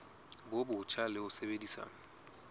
bo botjha le ho sebedisa